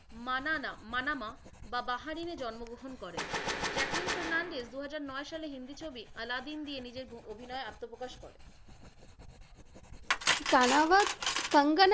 মানানা Manama বা বাহারিনে জন্মগ্রহণ করেন। জ্যাকলিন ফার্নান্দেজ দুহাজার নয় সালে হিন্দি ছবি আলাদিন দিয়ে নিজের অভিনয়ে আত্মপ্রকাশ করেন। কনবত কঙ্গনা,